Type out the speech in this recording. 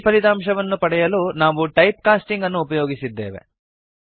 ಈ ಫಲಿತಾಂಶವನ್ನು ಪಡೆಯಲು ನಾವು ಟೈಪ್ ಕಾಸ್ಟಿಂಗ್ ಅನ್ನು ಉಪಯೋಗಿಸಿದ್ದೇವೆ